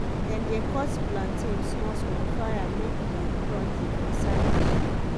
dem de cut plantain small-small fry am make e crunchy for side dish.